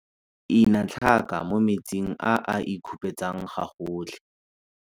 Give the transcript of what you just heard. Ina tlhaka mo metsing a a e khupetsang gagotlhe.